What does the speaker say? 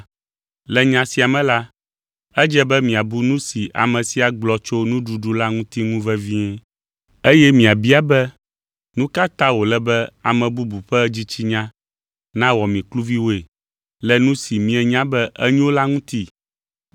Le nya sia me la, edze be miabu nu si ame sia gblɔ tso nuɖuɖu la ŋuti ŋu vevie. Eye miabia be, nu ka ta wòle be ame bubu ƒe dzitsinya nawɔ mi kluviwoe le nu si mienya be enyo la ŋuti?